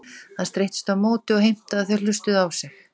Hann streittist á móti og heimtaði að þau hlustuðu á sig.